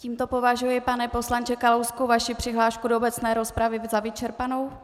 Tímto považuji, pane poslanče Kalousku, vaši přihlášku do obecné rozpravy za vyčerpanou?